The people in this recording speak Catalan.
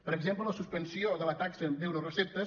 per exemple la suspensió de la taxa d’euroreceptes